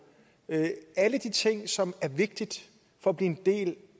alle de ting som er vigtige for at blive en del